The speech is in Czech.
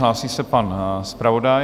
Hlásí se pan zpravodaj.